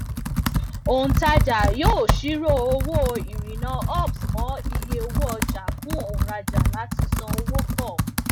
òǹtajà yóò ṣírò owó ìrìnnà ups mọ iye owó ọjà fún òǹrajà láti san owó pọ